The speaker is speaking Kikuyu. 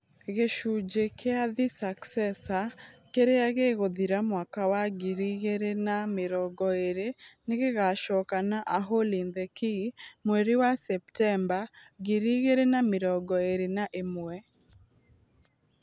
Gĩcunjĩ kĩa 'The Successor ', kĩrĩa gĩgũthira mwaka wa ngiri igĩrĩ na mĩrongo ĩrĩ nĩ gĩgaacokio na 'A hole in the Key ' mweri wa Septemba ngiri igĩrĩ na mĩrongo ĩrĩ na ĩmwe.